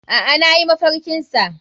Aa nayi mafarki sa.